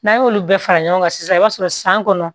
N'an y'olu bɛɛ fara ɲɔgɔn kan sisan i b'a sɔrɔ san kɔnɔ